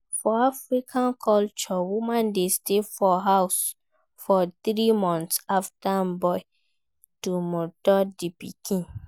For Afican culture woman de stay for house for three months after im born to nurture di pikin